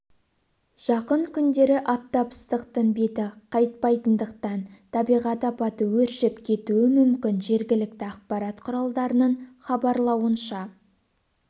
жақын күндері аптап ыстықтың беті қайтпайтындықтан табиғат апаты өршіп кетуі мүмкін жергілікті ақпарат құралдарының хабарлауынша